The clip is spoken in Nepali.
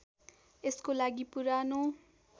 यसको लागि पुरानो